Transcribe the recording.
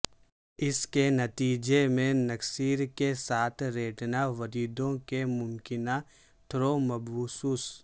اس کے نتیجے میں نکسیر کے ساتھ ریٹنا وریدوں کی ممکنہ تھرومبوسس